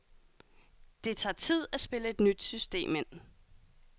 Det tager tid at spille et nyt system ind.